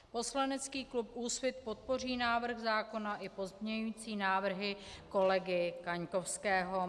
Poslanecký klub Úsvit podpoří návrh zákona i pozměňující návrhy kolegy Kaňkovského.